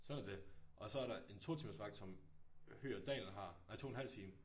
Sådan er det. Og så er der en 2 timers vagt som Høg og Dahl har. Nej 2 en halv time